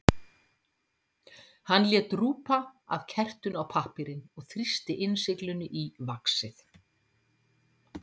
Hann lét drjúpa af kertinu á pappírinn og þrýsti innsiglinu í vaxið.